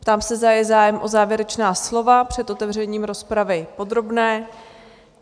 Ptám se, zda je zájem o závěrečná slova před otevřením rozpravy podrobné?